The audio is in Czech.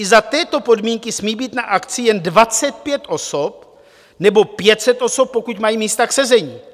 I za této podmínky smí být na akci jen 25 osob, nebo 500 osob, pokud mají místa k sezení.